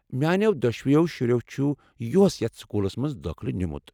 میانٮ۪و دۄشوٕیو شُرِٮ۪و چُھ یُہس یتھ سکوٗلس منٛز دٲخلہٕ نیوٗمُت ۔